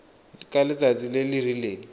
ka letsatsi le le rileng